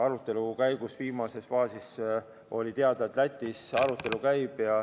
Arutelu käigu viimases faasis oli teada, et Lätis arutelu käib.